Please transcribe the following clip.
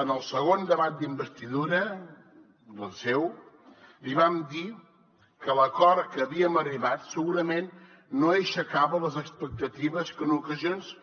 en el segon debat d’investidura el seu li vam dir que l’acord a què havíem arribat segurament no aixecava les expectatives que en ocasions